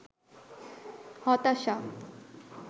হতাশা